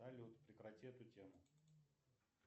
салют прекрати эту тему